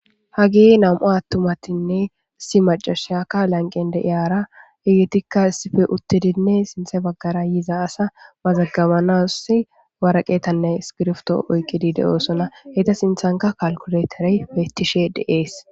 hagi nam7u attumatinne si macashaka lanqende iyaara igitikka sife uttedinne sinthe baggara yiza asa mazagabanas waraqeetanne skirfto oyqqidi de7oosona heyta sinthanka kalkuleterey beettishe deees